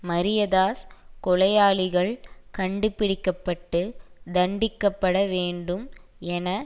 மரியதாஸ் கொலையாளிகள் கண்டுபிடிக்க பட்டு தண்டிக்க பட வேண்டும் என